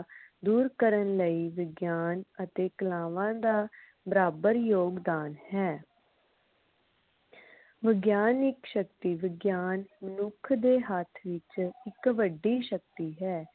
ਦੂਰ ਕਰਨ ਲਈ ਵਿਗਿਆਨ ਅਤੇ ਕਲਾਵਾਂ ਦਾ ਬਰਾਬਰ ਯੋਗਦਾਨ ਹੈ ਵਿਗਿਆਨ ਇਕ ਸ਼ਕਤੀ ਵਿਗਿਆਨ ਮਨੁੱਖ ਦੇ ਹੱਥ ਵਿਚ ਇਕ ਵੱਡੀ ਸ਼ਕਤੀ ਹੈ